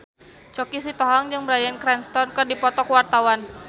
Choky Sitohang jeung Bryan Cranston keur dipoto ku wartawan